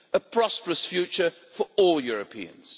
A prosperous future for all Europeans.